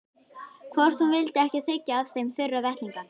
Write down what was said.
Hvort hún vildi ekki þiggja af þeim þurra vettlinga.